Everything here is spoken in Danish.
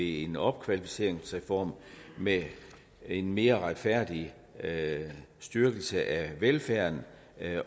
en opkvalificeringsreform med en mere retfærdig styrkelse af velfærden